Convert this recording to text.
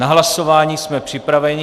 Na hlasování jsme připraveni.